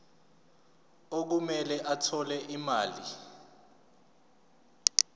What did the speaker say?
okumele athole imali